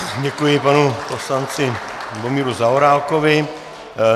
Děkuji panu poslanci Lubomíru Zaorálkovi.